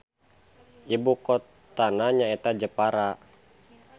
Ibukotana nyaeta Jepara.